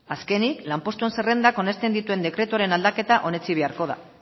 azkenik lanpostuen zerrendak onesten dituen dekretuaren aldaketa onetsi beharko da